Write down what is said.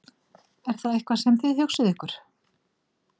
Er það eitthvað sem þið hugsið ykkur?